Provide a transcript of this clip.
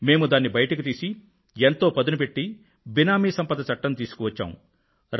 మేము దాన్ని బయటకు తీసి ఎంతో పదునుపెట్టి బేనామీ ఆస్తి చట్టం తీసుకువచ్చాము